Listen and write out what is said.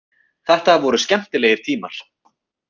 Þetta voru skemmtilegir tímar.